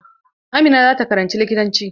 Amina za ta karanci likitanci.